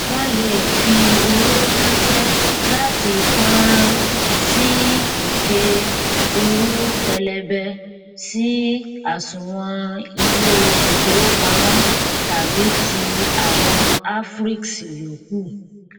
wọn lè fi owó ránṣẹ láti fọnrán sí ike owó pẹlẹbẹ sí àsùnwòn ilé ìfowópamọ tàbí ti àwọn afriex yòókù